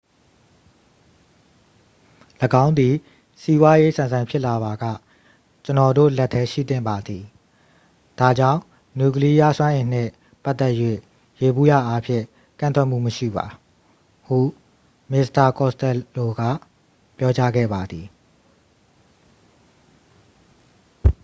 """၎င်းသည် စီးပွားရေးဆန်ဆန်ဖြစ်လာပါက၊ ကျွန်တော်တို့ လက်ထဲရှိသင့်ပါတယ်။ ဒါကြောင့် နျူကလီယားစွမ်းအင်နှင့် ပတ်သက်၍ ယေဘုယျအားဖြင့် ကန့်ကွက်မှုမရှိပါ" ဟု မစ္စတာ costello က ပြောကြားခဲ့ပါသည်။